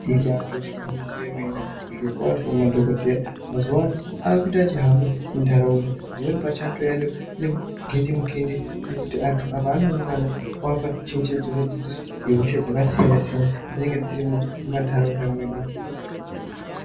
Ibatori gwinyiso remene zvirokwazvo madhokodheya mazuwa ano akuita achihamba munharaunda pamweni pacho anotouya negindimukindi achiti apo antu anoungana oapa chenjedzo nedzidziso yehosha dzakasiyanasiyana dzinonga dzirimwo mumanharaunda mwedu.